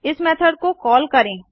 इस मेथड को कॉल करें